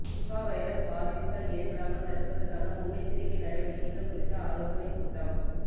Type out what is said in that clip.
Nipah virus பாதிப்புகள் ஏற்படாமல் தடுப்பதற்கான முன்னெச்சரிக்கை நடவடிக்கைகள் குறித்த ஆலேசானைக்கூட்டம்